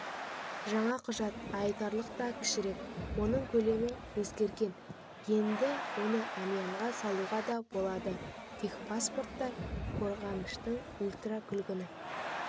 жаңа құжат айтарлықтай кішірек оның көлемі өзгерген енді оны әмиянға салуға да болады техпаспорттар қорғаныштың ультракүлгін